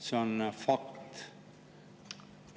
See on fakt.